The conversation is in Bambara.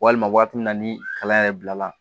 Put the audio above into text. Walima waati min na ni kalan yɛrɛ bilala